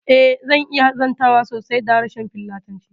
Eh, zan iya zantawa sosai da harshen filatanci